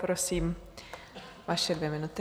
Prosím, vaše dvě minuty.